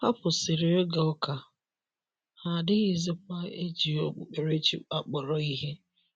Ha kwụsịrị ịga ụka, ha adịghịzikwa eji okpukpere chi akpọrọ ihe.